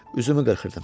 Üzümü qırxırdım.